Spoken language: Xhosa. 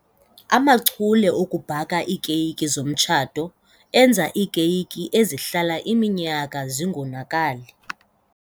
Amachule okubhaka iikeyiki zomtshato enza iikeyiki ezihlala iminyaka zingonakali.